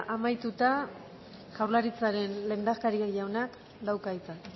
amaituta jaurlaritzaren lehendakari jaunak dauka hitza